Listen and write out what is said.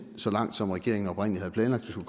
så langt som regeringen oprindelig havde planlagt vi